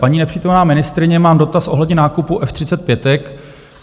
Paní nepřítomná ministryně, mám dotaz ohledně nákupu F-35.